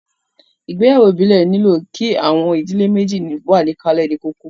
Ìgbéyàwó ìbílẹ̀ nílò kí àwọn ìdílé méjèjì wà níkàlẹ̀ ní kókó